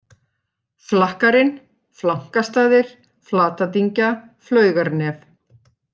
Flakkarinn, Flankastaðir, Flatadyngja, Flaugarnef